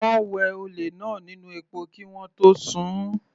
Wọ́n wẹ olè náà nínú epo kí wọ́n tó sun-ùn.